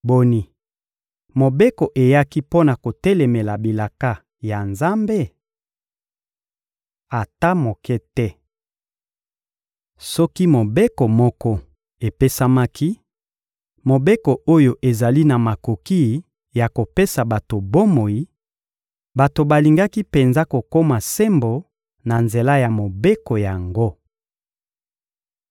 Boni, Mobeko eyaki mpo na kotelemela bilaka ya Nzambe? Ata moke te! Soki mobeko moko epesamaki, mobeko oyo ezali na makoki ya kopesa bato bomoi, bato balingaki penza kokoma sembo na nzela ya mobeko yango.